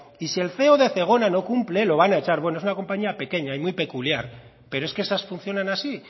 y si el feo de zegona no cumple lo van a echar bueno es una compañía pequeña y muy peculiar pero es que esas funcionan así